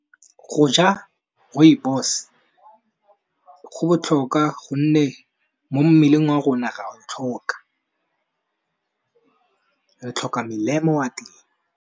Go ja Rooibos go botlhokwa gonne mo mmeleng wa rona ra o tlhoka, re tlhoka melemo wa teng.